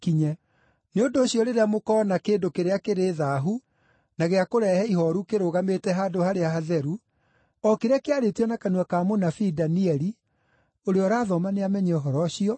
“Nĩ ũndũ ũcio rĩrĩa mũkoona ‘kĩndũ kĩrĩa kĩrĩ thaahu na gĩa kũrehe ihooru’ kĩrũgamĩte Handũ-harĩa-Hatheru, o kĩrĩa kĩarĩtio na kanua ka mũnabii Danieli (ũrĩa ũrathoma nĩamenye ũhoro ũcio),